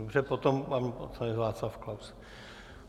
Dobře. potom pan poslanec Václav Klaus.